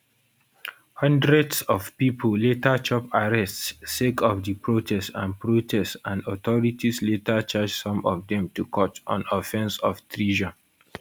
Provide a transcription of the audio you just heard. hundreds of pipo later chop arrests sake of di protest and protest and authorities later charge some of dem to court on offence of treason